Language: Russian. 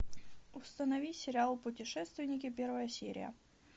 установи сериал путешественники первая серия